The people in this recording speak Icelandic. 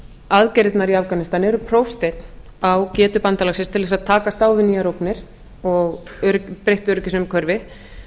aðgerðirnar í afganistan eru prófsteinn á getu bandalagsins til þess að takast á við nýjar ógnir og breytt öryggisumhverfi